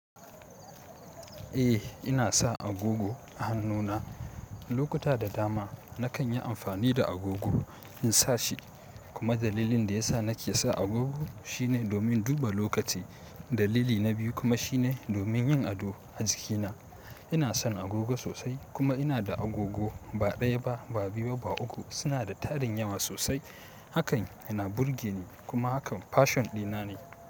Eh, ina sa agogo a hannuna. Lokuta da dama nakan yi amfani da agogo in sa shi. Kuma dalilin da yasa nake sa agogo shine domin duba lokaci. Dalili na biyu kuma shine domin yin ado a jikina. Ina son agogo sosai kuma ina da agogo ba ɗaya ba, ba biyu ba, ba uku. Suna da tarin yawa sosai. Hakan yana burge ni kuma hakan pashion dina ne.